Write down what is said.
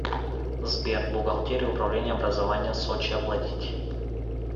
сбер бухгалтерия управления образования сочи оплатить